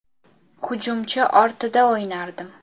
Hujumchi ortida o‘ynardim.